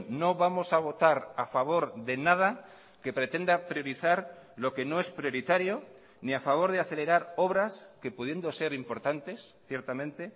no vamos a votar a favor de nada que pretenda priorizar lo que no es prioritario ni a favor de acelerar obras que pudiendo ser importantes ciertamente